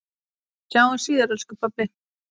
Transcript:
Við sjáumst síðar elsku pabbi.